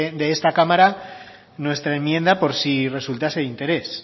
de esta cámara nuestra enmienda por si resultase de interés